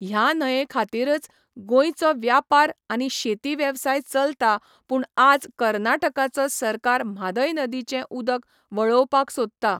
ह्या न्हंये खातीरच गोयचो व्यापार आनी शेती वेवसाय चलता पूण आज कर्नटकाचो सरकार म्हादय नदीचे उदक वळोवपाक सोदता